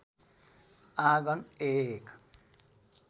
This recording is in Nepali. आँगन एक